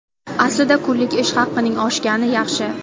Aslida kunlik ish haqining oshgani yaxshi.